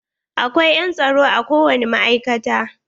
Akwai yan tsaro a ko wani ma'aikata.